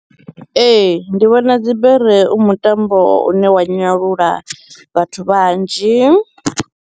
Ee, ndi vhona dzibere u mutambo une wa nyalula vhathu vhanzhi.